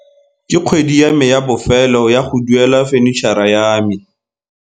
Ke kgwedi ya me ya bofelo ya go duela fenitšhara ya me.